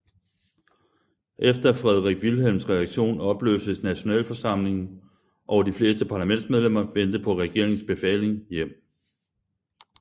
Efter Frederik Wilhelms reaktion opløstes nationalforsamlingen og de fleste parlamentsmedlemmer vendte på regeringens befaling hjem